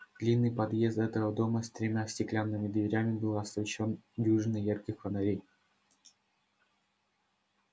длинный подъезд этого дома с тремя стеклянными дверями был освещён дюжиной ярких фонарей